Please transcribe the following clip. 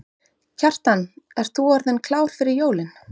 Kjartan, ert þú orðinn klár fyrir jólin?